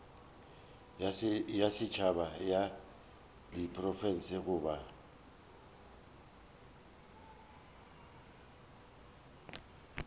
ya setšhaba ya diprofense goba